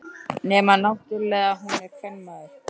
Nema náttúrlega að hún er kvenmaður.